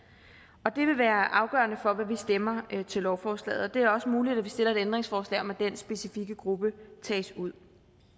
det vil være afgørende for hvad vi stemmer til lovforslaget det er også muligt at vi stiller et ændringsforslag om at den specifikke gruppe tages ud